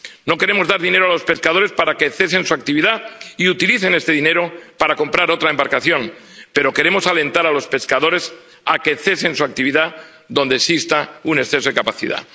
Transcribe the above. No queremos dar dinero a los pescadores para que cesen su actividad y utilicen este dinero para comprar otra embarcación, pero queremos alentar a los pescadores a que cesen su actividad allí donde exista un exceso de capacidad.